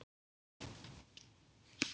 Elsku afi Halli er látinn.